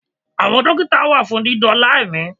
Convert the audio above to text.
Àwọn Dókítà wà fún dídóòlà ẹ̀mí